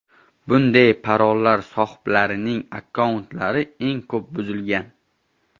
Bunday parollar sohiblarining akkauntlari eng ko‘p buzilgan.